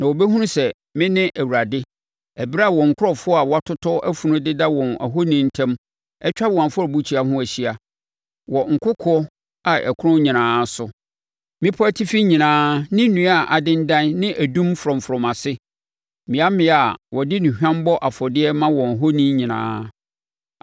Na wɔbɛhunu sɛ me ne Awurade, ɛberɛ a wɔn nkurɔfoɔ a wɔatotɔ afunu deda wɔn ahoni ntam atwa wɔn afɔrebukyia ho ahyia, wɔ nkokoɔ a ɛkorɔn nyinaa so, mmepɔ atifi nyinaa ne nnua a adendan ne odum frɔmfrɔm ase, mmea mmea a wɔde nnuhwam bɔ afɔdeɛ ma wɔn ahoni nyinaa.